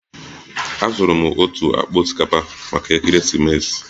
Azụrụ m otu akpa osikapa maka Ekeresimesi